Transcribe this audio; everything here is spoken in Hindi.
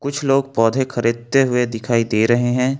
कुछ लोग पौधे खरीदते हुए दिखाई दे रहे हैं।